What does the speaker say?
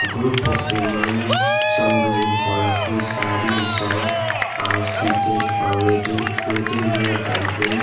group of women some wearing colourful saree and shawl are seated or waited waiting near the entrance.